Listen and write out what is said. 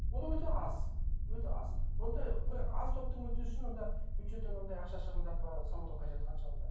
ол өте аз өте аз ондай бір аз топтың мүддесін онда бюджеттен анандай ақша шығындап ы салудың қажеті қанша онда